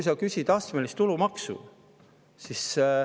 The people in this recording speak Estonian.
Sa küsid astmelist tulumaksu.